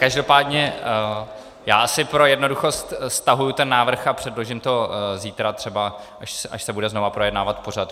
Každopádně já asi pro jednoduchost stahuji ten návrh a předložím to zítra třeba, až se bude znovu projednávat pořad.